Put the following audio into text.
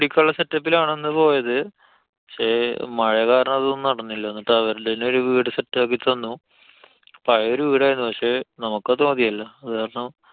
അടിക്കാനുള്ള set up ലാണ് അന്ന് പോയത്. പക്ഷെ മഴ കാരണം അതൊന്നും നടന്നില്ല, എന്നിട്ട് അവർടന്നെ ഒരു വീട് set ആക്കി തന്നു. പഴയ ഒരു വീടായിരുന്നു, പക്ഷെ നമുക്ക് അത് മതിയല്ലോ. അതു കാരണം